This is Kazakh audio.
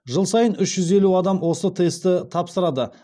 жыл сайын үш жүз елу адам осы тестті тапсырады